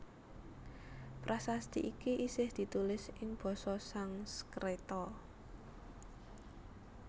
Prasasti iki isih ditulis ing basa Sangskreta